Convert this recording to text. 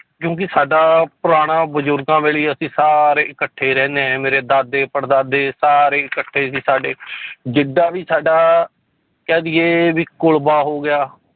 ਕਿਉਂਕਿ ਸਾਡਾ ਪੁਰਾਣਾ ਬਜ਼ੁਰਗਾਂ ਵੇਲੇ ਅਸੀਂ ਸਾਰੇ ਇਕੱਠੇ ਰਹਿੰਦੇ ਹਾਂ ਮੇਰੇ ਦਾਦੇ ਪੜਦਾਦੇ ਸਾਰੇ ਇਕੱਠੇ ਸੀ ਸਾਡੇ ਜਿੱਡਾ ਵੀ ਸਾਡਾ ਕਹਿ ਦੇਈਏ ਵੀ ਕੁਲਵਾ ਹੋ ਗਿਆ